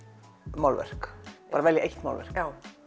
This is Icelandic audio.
málverk bara eitt málverk